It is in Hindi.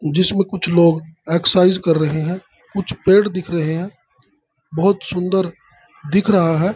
जिस में कुछ लोग एक्साइज कर रहे हैं कुछ पेड़ दिख रहे हैं बहुत सुन्दर दिख रहा है ।